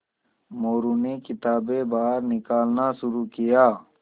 मोरू ने किताबें बाहर निकालना शुरू किया